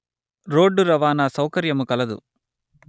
road రవాణా సౌకర్యము కలదు